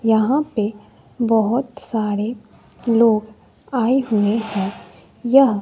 यहां पे बहोत सारे लोग आए हुए हैं यह--